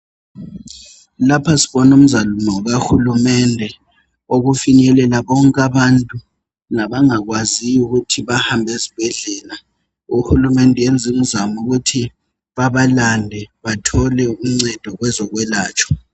Lapha sibona imizamo kahulumende okufinyelela konke abantu labangakwaziyo ukuthi bahambe ezibhedlela. Uhulumende uyenza imizamo ukuthi babalande bathole uncedo kwezokwelatshwa.